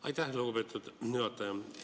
Aitäh, lugupeetud juhataja!